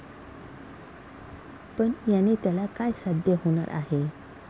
पण याने त्याला काय साध्य होणार आहे?